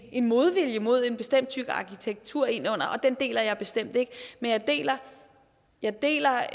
modvilje mod en bestemt type arkitektur ind og den deler jeg bestemt ikke men jeg deler jeg deler